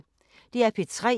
DR P3